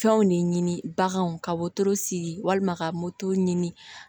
Fɛnw de ɲini baganw ka wotoro sigi walima ka moto ɲini